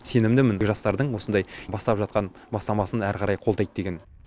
сенімдімін жастардың осындай бастап жатқан бастамасын әрі қарай қолдайды деген